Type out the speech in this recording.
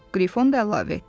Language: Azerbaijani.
Qrifon da əlavə etdi.